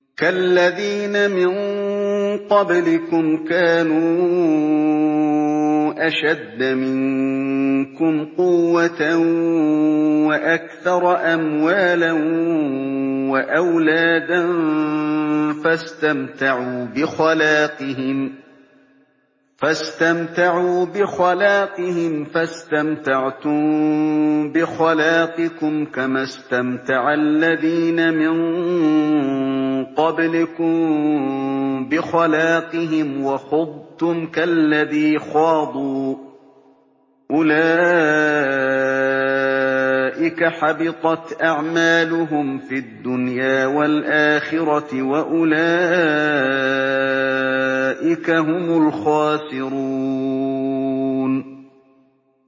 كَالَّذِينَ مِن قَبْلِكُمْ كَانُوا أَشَدَّ مِنكُمْ قُوَّةً وَأَكْثَرَ أَمْوَالًا وَأَوْلَادًا فَاسْتَمْتَعُوا بِخَلَاقِهِمْ فَاسْتَمْتَعْتُم بِخَلَاقِكُمْ كَمَا اسْتَمْتَعَ الَّذِينَ مِن قَبْلِكُم بِخَلَاقِهِمْ وَخُضْتُمْ كَالَّذِي خَاضُوا ۚ أُولَٰئِكَ حَبِطَتْ أَعْمَالُهُمْ فِي الدُّنْيَا وَالْآخِرَةِ ۖ وَأُولَٰئِكَ هُمُ الْخَاسِرُونَ